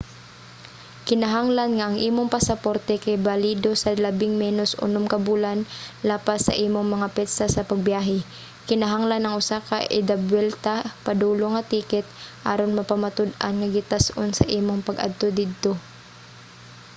kinahanglan nga ang imong pasaporte kay balido sa labing menos unom ka bulan lapas sa imong mga petsa sa pagbiyahe. kinahanglan ang usa ka idabuwelta/padulong nga ticket aron mapamatud-an ang gitas-on sa imong pag adto didto